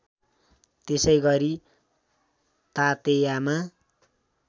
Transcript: त्यसै गरी तातेयामा